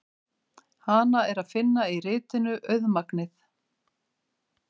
Hana er að finna í ritinu Auðmagnið.